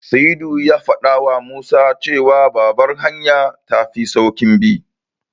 Sa'idu ya faɗawa Musa cewa Babbar hanya tafi sauƙin bi.